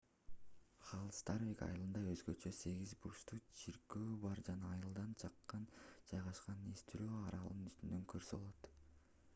халдарсвик айылында өзгөчө сегиз бурчтуу чиркөө бар жана айылдан жакын жайгашкан эстурой аралын үстүнөн көрсө болот